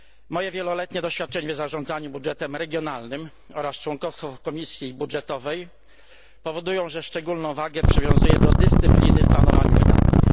Moje wieloletnie doświadczenie w zarządzaniu budżetem regionalnym oraz członkostwo w Komisji Budżetowej powodują, że szczególną wagę przywiązuję do dyscypliny w planowaniu wydatków.